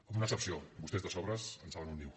amb una excepció vostès de sobres en saben un niu